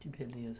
Que beleza.